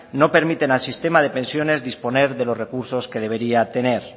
no permiten al sistema de pensiones disponer de los recursos que debería tener